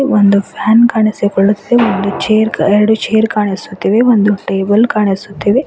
ಒಂದು ಫ್ಯಾನ್ ಕಾಣಿಸಿಕೊಳ್ಳುತ್ತೆ ಒಂದು ಎರಡು ಚೇರ್ ಕಾಣಿಸುತ್ತಿವೆ ಎರಡು ಟೇಬಲ್ ಕಾಣಿಸುತ್ತಿವೆ.